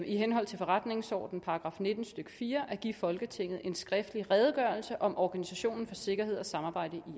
i henhold til forretningsordenens § nitten stykke fire at give folketinget en skriftlig redegørelse om organisationen for sikkerhed og samarbejde i